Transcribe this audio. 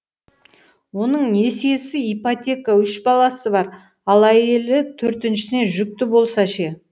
оның несиесі ипотека үш баласы бар ал әйелі төртіншісіне жүкті болса ше